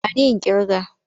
Ba ni in ƙirga!